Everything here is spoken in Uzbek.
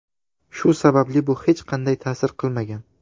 Shu sababli bu hech qanday ta’sir qilmagan.